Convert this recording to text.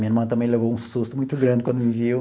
Minha irmã também levou um susto muito grande quando me viu.